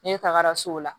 Ne tagara so la